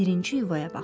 Birinci yuvaya baxır.